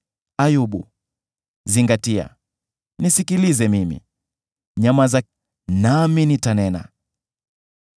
“Ayubu, zingatia, nisikilize mimi; nyamaza, nami nitanena.